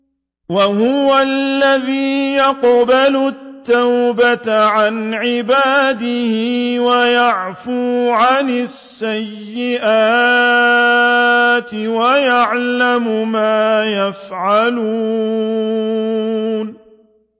وَهُوَ الَّذِي يَقْبَلُ التَّوْبَةَ عَنْ عِبَادِهِ وَيَعْفُو عَنِ السَّيِّئَاتِ وَيَعْلَمُ مَا تَفْعَلُونَ